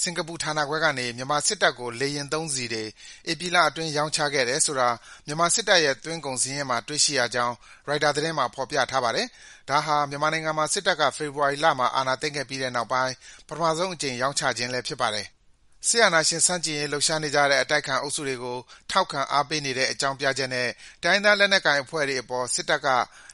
စင်္ကာပူဌာနခွဲကနေ မြန်မာစစ်တပ်ကို လေယာဉ်သုံးဆီတွေ ဧပြီလအတွင်း ရောင်းချခဲ့တယ်ဆိုတာ မြန်မာစစ်တပ်ရဲ့ သွင်းကုန်စာရင်းမှာ တွေ့ရှိရကြောင်း ရိုက်တာသတင်းမှာ ဖော်ပြထားပါတယ်။ ဒါဟာ မြန်မာနိုင်ငံမှာ စစ်တပ်က ဖေဖော်ဝါရီလမှာ အာဏာသိမ်းခဲ့ပြီးတဲ့နောက်ပိုင်း ပထမဆုံးအကြိမ် ရောင်းချခြင်းဖြစ်ပါတယ်။ စစ်အာဏာရှင်ဆန့်ကျင်ရေး လှုပ်ရှားနေကြတဲ့ အတိုက်အခံအုပ်စုတွေကို ထောက်ခံအားပေးဆိုတဲ့ အကြောင်းပြချက်နဲ့ တိုင်းရင်းသား လက်နက်ကိုင်အဖွဲ့တွေအပေါ် စစ်ကောင်စီ